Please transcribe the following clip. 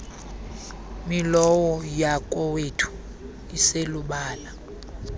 milowo yakowethu iselubala